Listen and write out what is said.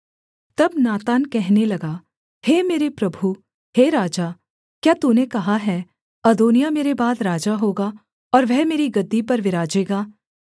तब नातान कहने लगा हे मेरे प्रभु हे राजा क्या तूने कहा है अदोनिय्याह मेरे बाद राजा होगा और वह मेरी गद्दी पर विराजेगा